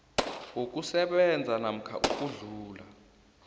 wokusebenza namkha ukudlula